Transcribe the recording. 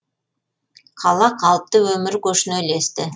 қала қалыпты өмір көшіне ілесті